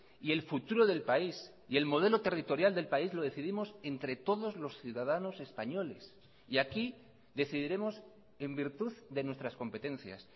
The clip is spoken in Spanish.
y el futuro del país y el modelo territorial del país lo decidimos entre todos los ciudadanos españoles y aquí decidiremos en virtud de nuestras competencias